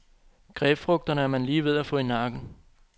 Grapefrugterne er man lige ved at få i nakken.